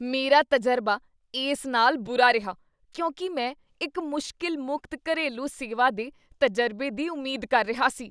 ਮੇਰਾ ਤਜ਼ਰਬਾ ਇਸ ਨਾਲ ਬੁਰਾ ਰਿਹਾ ਕਿਉਂਕਿ ਮੈਂ ਇੱਕ ਮੁਸ਼ਕਲ ਮੁਕਤ ਘਰੇਲੂ ਸੇਵਾ ਦੇ ਤਜ਼ਰਬੇ ਦੀ ਉਮੀਦ ਕਰ ਰਿਹਾ ਸੀ